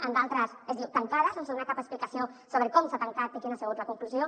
en d’altres es diu tancada sense donar cap explicació sobre com s’ha tancat i quina ha sigut la conclusió